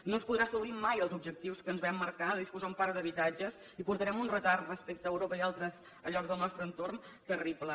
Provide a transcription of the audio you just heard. no es podran assolir mai els objectius que ens vam marcar de disposar d’un parc d’habitatges i portarem un retard respecte a europa i altres llocs del nostre entorn terrible